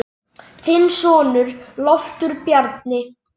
Þinn sonur, Loftur Bjarni.